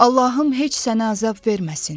Allahım heç sənə əzab verməsin.